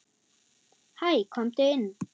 Hæ, komdu inn.